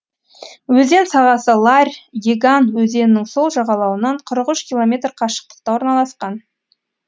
өзен сағасы ларь еган өзенінің сол жағалауынан қырық үш километр қашықтықта орналасқан